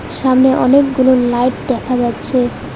সামনে অনেকগুলো লাইট দেখা যাচ্ছে।